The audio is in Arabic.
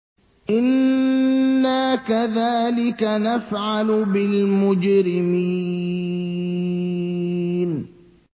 إِنَّا كَذَٰلِكَ نَفْعَلُ بِالْمُجْرِمِينَ